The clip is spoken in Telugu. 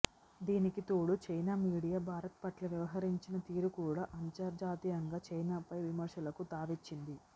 దీనికి తోడు చైనా మీడియా భారత్ పట్ల వ్యవహరించిన తీరు కూడా అంతర్జాతీయంగా చైనాపై విమర్శలకు తావిచ్చింది